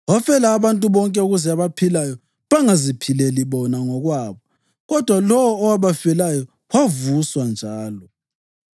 Wafela abantu bonke ukuze abaphilayo bangaziphileli bona ngokwabo kodwa lowo owabafelayo wavuswa njalo.